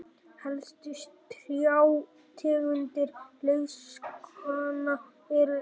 helstu trjátegundir laufskóganna eru eik